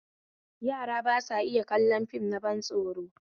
Yara ba sa iya kallon fim na ban tsoro